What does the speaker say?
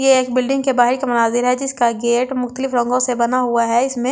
ये एक बिल्डिंग के बाहिर का मुनाजिर है जिसका गेट मुकतलिब रंगों से बना हुआ है इसमें मल्‍टी --